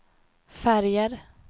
färger